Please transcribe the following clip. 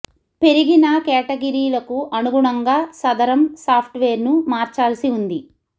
పెరిగిన కేటగిరీలకు అనుగుణంగా సదరం సాఫ్ట్ వేర్ ను మార్చాల్సి ఉంది